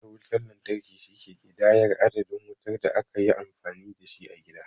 Mitan wutan lantarki, shi ke ƙidayar adadin wutar da aka yi amfani da shi a gida.